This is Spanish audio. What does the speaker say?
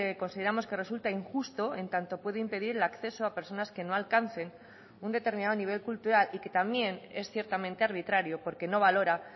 consideramos que resulta injusto en tanto puede impedir el acceso a personas que no alcancen un determinado nivel cultural y que también es ciertamente arbitrario porque no valora